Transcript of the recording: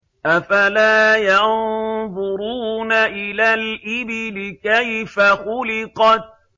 أَفَلَا يَنظُرُونَ إِلَى الْإِبِلِ كَيْفَ خُلِقَتْ